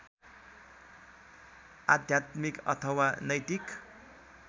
आध्यात्मिक अथवा नैतिक